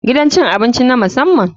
Gidan cin abinci na musamman.